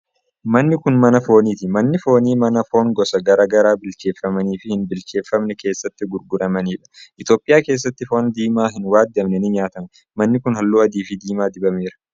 manni kun mana fooniti. Manni foonii ,mana foon gosa garaa garaa bilcheeffamanii fi hin bilcheeffamne keessatti gurguramanii dha. Itoophiyaa keessatti foon diimaan hin waadamne ni nyaatama. Manni kun haalluu adii fi diimaa dibameera.